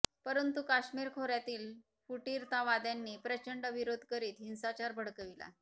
परंतु कश्मीर खोर्यातील फुटीरतावाद्यांनी प्रचंड विरोध करीत हिंसाचार भडकविला